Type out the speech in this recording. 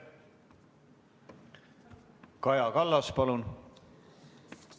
Kaja Kallas, palun!